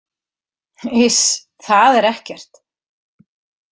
Iss, það er ekkert.